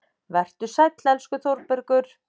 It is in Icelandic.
Vertu sæll, elsku Þórbergur.